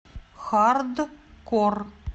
хардкор